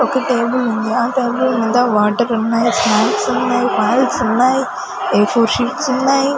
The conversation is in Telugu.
ఒక టేబుల్ ఉంది ఆ టేబుల్ మీద వాటర్ ఉన్నాయి స్నాక్స్ ఉన్నాయి ఫైల్స్ ఉన్నాయి ఏ ఫోర్ షీట్స్ ఉన్నాయి.